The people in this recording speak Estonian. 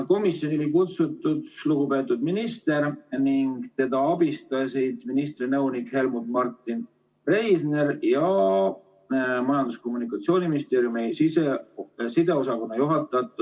Komisjoni oli kutsutud lugupeetud minister ning teda abistasid ministri nõunik Helmuth Martin Reisner ja Majandus- ja Kommunikatsiooniministeeriumi sideosakonna juhataja Tõnu Nirk.